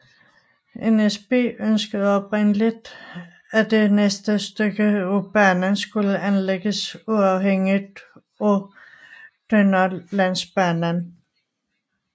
NSB ønskede oprindeligt at det næste stykke af banen skulle anlægges uafhængigt af Dunderlandsbanen